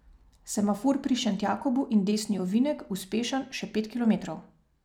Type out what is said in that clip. Semafor pri Šentjakobu in desni ovinek, uspešen, še pet kilometrov.